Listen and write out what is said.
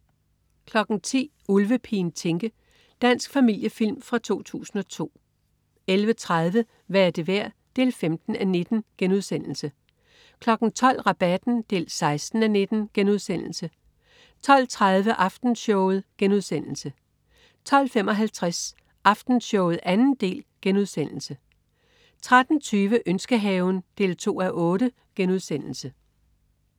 10.00 Ulvepigen Tinke. Dansk familiefilm fra 2002 11.30 Hvad er det værd? 15:19* 12.00 Rabatten 16:19* 12.30 Aftenshowet* 12.55 Aftenshowet 2. del* 13.20 Ønskehaven 2:8*